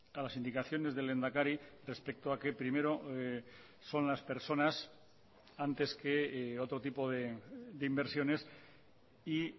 a las indicaciones del lehendakari respecto a que primero son las personas antes que otro tipo de inversiones y